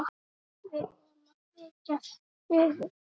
Við vorum að flytja suður.